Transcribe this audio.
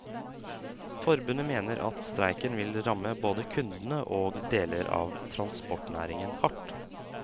Forbundet mener at streiken vil ramme både kundene og deler av transportnæringen hardt.